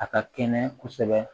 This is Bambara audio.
A ka kɛnɛ kosɛbɛ